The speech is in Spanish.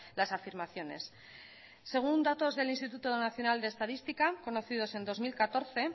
las afirmaciones según datos del instituto nacional de estadística conocidos en dos mil catorce